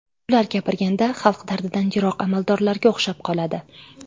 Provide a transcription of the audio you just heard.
Ular gapirganda xalq dardidan yiroq amaldorlarga o‘xshab qoladi.